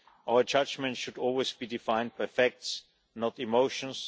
Our judgment should always be defined by facts, not emotions.